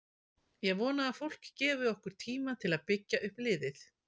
Ég vona að fólk gefi okkur tíma til að byggja upp liðið.